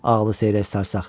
Ağılı seyrək, sərsəq.